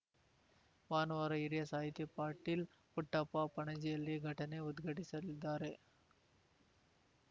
ಭಾನುವಾರ ಹಿರಿಯ ಸಾಹಿತಿ ಪಾಟೀಲ್‌ ಪುಟ್ಟಪ್ಪ ಪಣಜಿಯಲ್ಲಿ ಘಟನೆ ಉದ್ಘಟಿಸಲಿದ್ದಾರೆ